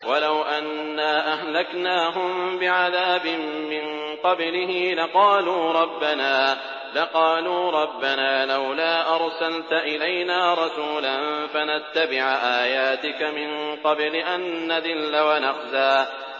وَلَوْ أَنَّا أَهْلَكْنَاهُم بِعَذَابٍ مِّن قَبْلِهِ لَقَالُوا رَبَّنَا لَوْلَا أَرْسَلْتَ إِلَيْنَا رَسُولًا فَنَتَّبِعَ آيَاتِكَ مِن قَبْلِ أَن نَّذِلَّ وَنَخْزَىٰ